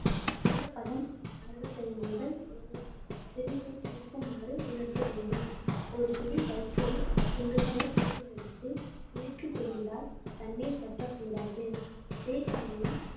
ஈரப்பதம் அறுபத்தி ஐந்து முதல் சதவீதம் இருக்குமாறு உலர்த்த வேண்டும் ஒரு பிடி வைக்கோல் துண்டுகளை கையில் எடுத்து இறுக்கிப் பிழிந்தால் தண்ணீர் சொட்டக் கூடாது அதே சமயம்